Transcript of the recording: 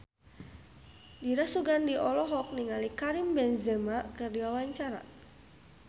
Dira Sugandi olohok ningali Karim Benzema keur diwawancara